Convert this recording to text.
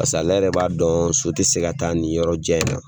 Pas'ale yɛrɛ b'a dɔn so tɛ se ka taa ni yɔrɔ jan in na.